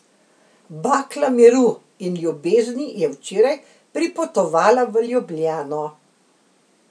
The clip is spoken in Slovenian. Bakla miru in ljubezni je včeraj pripotovala v Ljubljano.